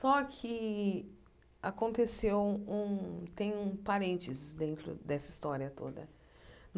Só que aconteceu um um... tem um parênteses dentro dessa história toda.